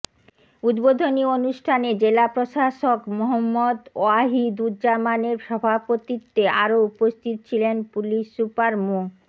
উদ্বোধনী অনুষ্ঠানে জেলা প্রশাসক মুহম্মদ ওয়াহিদুজ্জামানের সভাপতিত্বে আরো উপস্থিত ছিলেন পুলিশ সুপার মো